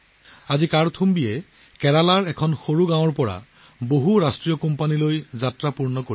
আজি কাৰ্থুম্বি ছাতি কেৰেলাৰ এখন সৰু গাঁৱৰ পৰা বহুজাতিক কোম্পানীলৈ যাত্ৰা সম্পূৰ্ণ কৰি আছে